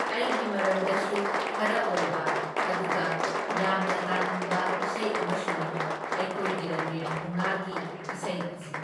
ꯑꯩꯒꯤ ꯃꯔꯝꯗꯁꯨ ꯈꯔ ꯑꯣꯏꯕ ꯑꯗꯨꯒ ꯌꯥꯝꯅ ꯇꯥꯅꯤꯡꯕ ꯏꯁꯩ ꯑꯃꯁꯨꯅꯤ ꯑꯩꯈꯣꯏꯒꯤ ꯔꯟꯕꯤꯔ ꯊꯧꯅꯥꯒꯤ ꯢꯁꯩ ꯑꯁꯤ꯫